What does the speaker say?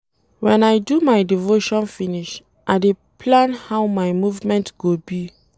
Wen I do devotion finish, I dey plan how my movement go be.